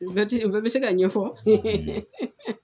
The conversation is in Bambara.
U bɛɛ ti u bɛɛ bɛ se ka ɲɛfɔ